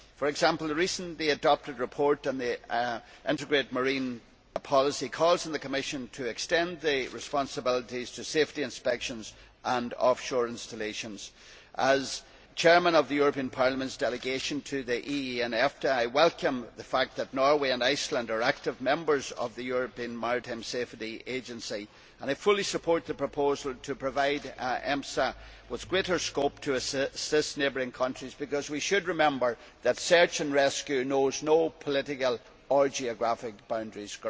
For example, the recently adopted report on the integrated marine policy calls on the Commission to extend the responsibilities to safety inspections and offshore installations. As Chairman of Parliament's delegation to the EEA and EFTA, I welcome the fact that Norway and Iceland are active members of the European Maritime Safety Agency. I fully support the proposal to provide EMSA with greater scope to assist neighbouring countries because we should remember that search and rescue knows no political or geographical boundaries.